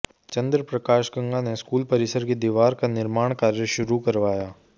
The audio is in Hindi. चंद्र प्रकाश गंगा ने स्कूल परिसर की दीवार का निर्माण कार्य शुरू करवाया